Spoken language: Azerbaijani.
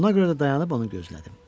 Buna görə də dayanıb onu gözlədim.